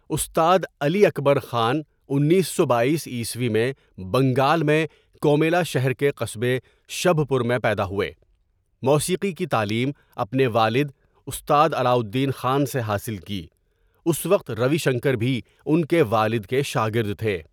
استاد علی اکبر خان انیس سو بایس عیسوی میں بنگال میں کومیلا شہر کے قصبے شبھ پور میں پیدا ہوئے موسیقی کی تعلیم اپنے والد استاد علاٴالدین خان سے حاصل کی اُس وقت روی شنکر بھی اُن کے والد کے شاگرد تھے.